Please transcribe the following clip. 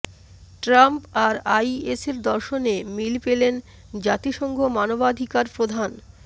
Trump আর আইএসের দর্শনে মিল পেলেন জাতিসংঘ মানবাধিকার প্রধান